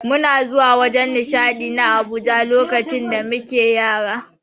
Muna zuwa wajen nishadi na Abuja lokacin da muke Yara.